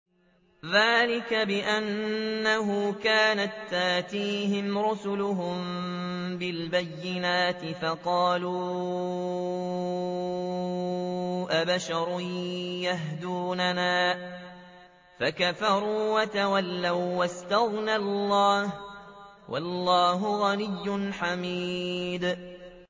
ذَٰلِكَ بِأَنَّهُ كَانَت تَّأْتِيهِمْ رُسُلُهُم بِالْبَيِّنَاتِ فَقَالُوا أَبَشَرٌ يَهْدُونَنَا فَكَفَرُوا وَتَوَلَّوا ۚ وَّاسْتَغْنَى اللَّهُ ۚ وَاللَّهُ غَنِيٌّ حَمِيدٌ